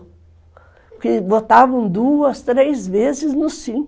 Porque votavam duas, três vezes no sím